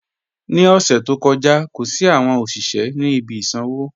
Ní ọṣẹ̀ tó kọja, kò sí awọn ọṣiṣẹ̀ ni ibi ìsànwo